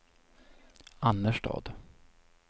Annerstad